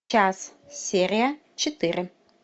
час серия четыре